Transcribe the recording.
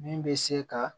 Min bɛ se ka